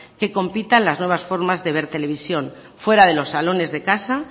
que compita en las nuevas formas de ver televisión fuera de los salones de casa